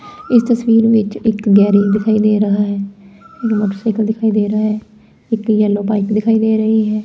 ਇਸ ਤਸਵੀਰ ਵਿੱਚ ਇੱਕ ਗੈਰੇਜ ਦਿਖਾਈ ਦੇ ਰਿਹਾ ਹੈ ਇਕ ਮੋਟਰਸਾਈਕਲ ਦਿਖਾਈ ਦੇ ਰਿਹਾ ਹੈ ਇਕ ਯੈਲੋ ਪਾਈਪ ਦਿਖਾਈ ਦੇ ਰਹੀ ਹੈ।